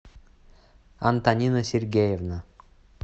антонина сергеевна